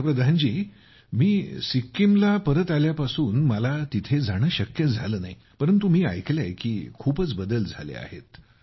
पंतप्रधान जी मी सिक्कीमला परत आल्यापासून मला तिथे जाणे शक्य झाले नाही परंतु मी ऐकले आहे की खूपच बदल झाले आहेत